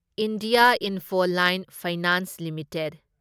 India Infoline Finance limited